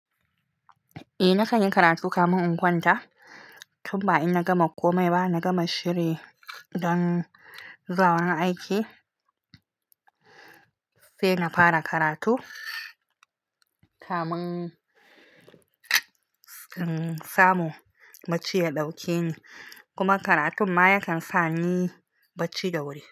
Eh na kan yi karatu kamin in kwanta, tun ba in na gama komai ba na gama shiri don zuwa wurin aiki sai na fara karatu kamin in samu bacci ya ɗauke ni. Kuma karatun ma yakan sa ni bacci da wuri.